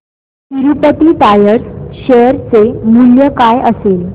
Tirupati tyres share चे मूल्य काय असेल